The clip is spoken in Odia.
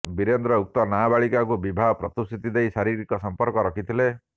ବିରେନ୍ଦ୍ର ଉକ୍ତ ନାବାଳିକାଙ୍କୁ ବିବାହ ପ୍ରତିଶ୍ରୁତି ଦେଇ ଶାରୀରିକ ସମ୍ପର୍କ ରଖିଥିଲେ